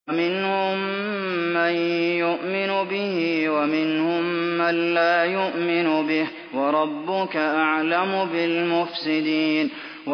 وَمِنْهُم مَّن يُؤْمِنُ بِهِ وَمِنْهُم مَّن لَّا يُؤْمِنُ بِهِ ۚ وَرَبُّكَ أَعْلَمُ بِالْمُفْسِدِينَ